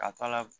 Ka t'a la